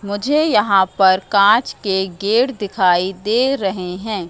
मुझे यहां पर कांच के गेट दिखाई दे रहे हैं।